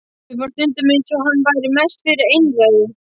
Mér fannst stundum eins og hann væri mest fyrir einræðu.